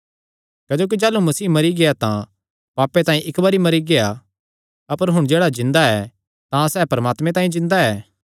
क्जोकि जाह़लू मसीह मरी गेआ तां पापे तांई इक्की ई बरी मरी गेआ अपर हुण जेह्ड़ा जिन्दा ऐ तां सैह़ परमात्मे तांई जिन्दा ऐ